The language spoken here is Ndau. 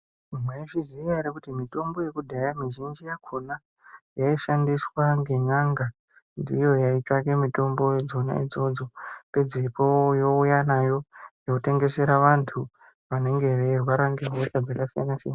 Mwaizviziya ere kuti mitombo yekudhaya mizhinji yakhona, yaishandiswa ngen'anga. Ndiyo yaitsvake mitombo dzona idzodzo. Pedzopo youya nayo, yotengesera antu vanenge veirwara ngehosha dzakasiyana-siyana.